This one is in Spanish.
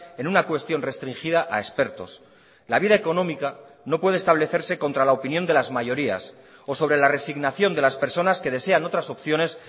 en una cuestión restringida a expertos la vida económica no puede establecerse contra la opinión de las mayorías o sobre la resignación de las personas que desean otras opciones